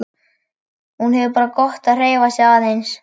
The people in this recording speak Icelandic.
Hún hefur bara gott af að hreyfa sig aðeins.